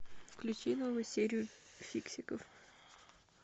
включи новую серию фиксиков